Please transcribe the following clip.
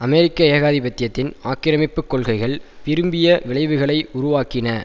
அமெரிக்க ஏகாதிபத்தியத்தின் ஆக்கிரமிப்பு கொள்கைகள் விரும்பிய விளைவுகளை உருவாக்கின